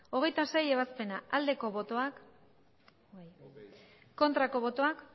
hogeita seigarrena ebazpena aldeko botoak aurkako botoak